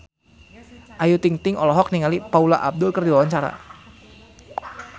Ayu Ting-ting olohok ningali Paula Abdul keur diwawancara